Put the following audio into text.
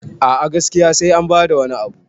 a a gaskiya sai an bada wani Abu